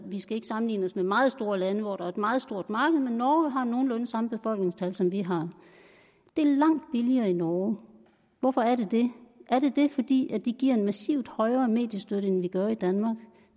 vi skal ikke sammenligne os med meget store lande hvor der er et meget stort marked men norge har nogenlunde det samme befolkningstal som vi har er det langt billigere i norge hvorfor er det det er det det fordi de giver en massiv højere mediestøtte end vi gør i danmark